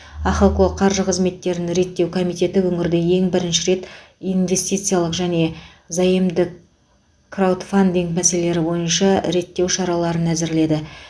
ахқо қаржы қызметтерін реттеу комитеті өңірде ең бірінші рет инвестициялық және заемдік краудфандинг мәселелері бойынша реттеу шараларын әзірледі